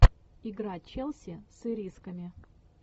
игра челси с ирисками